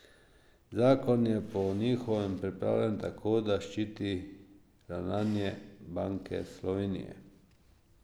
Zakon je po njihovem pripravljen tako, da ščiti ravnanje Banke Slovenije.